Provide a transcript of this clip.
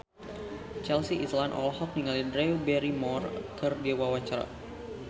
Chelsea Islan olohok ningali Drew Barrymore keur diwawancara